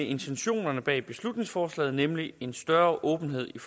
i intentionerne bag beslutningsforslaget nemlig en større åbenhed i